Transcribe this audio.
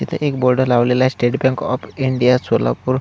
इथ एक बोर्ड लवलेला आहे state bank of India Solapur.